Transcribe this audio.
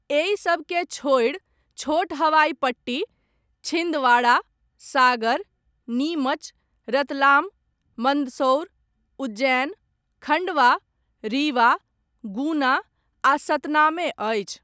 एहि सबकेँ छोड़ि, छोट हवाइ पट्टी, छिन्दवाड़ा, सागर, नीमच, रतलाम, मन्दसौर, उज्जैन, खण्डवा, रीवा, गुना, आ सतनामे अछि।